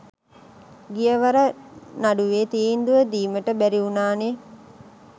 ගිය වර නඩුවේ තීන්දුව දීමට බැරි වුනානේ